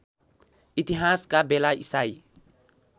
इतिहासका बेला इसाई